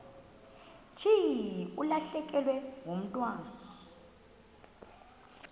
thi ulahlekelwe ngumntwana